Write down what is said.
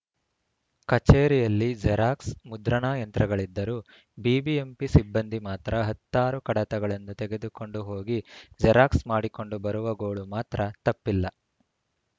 ಕಚೇರಿಯಲ್ಲಿ ಜೆರಾಕ್ಸ್‌ ಮುದ್ರಣಾ ಯಂತ್ರಗಳಿದ್ದರೂ ಬಿಬಿಎಂಪಿ ಸಿಬ್ಬಂದಿ ಮಾತ್ರ ಹತ್ತಾರು ಕಡತಗಳನ್ನು ತೆಗೆದುಕೊಂಡು ಹೋಗಿ ಜೆರಾಕ್ಸ್‌ ಮಾಡಿಕೊಂಡು ಬರುವ ಗೋಳು ಮಾತ್ರ ತಪ್ಪಿಲ್ಲ